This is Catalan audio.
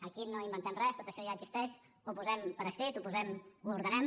aquí no inventem res tot això ja existeix ho posem per escrit ho ordenem